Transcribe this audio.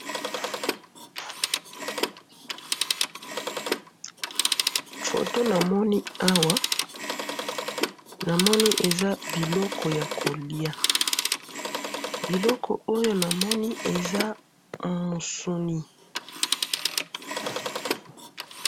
photo na moni awa eza biloko yako lia biloko oyo na moni eza musuni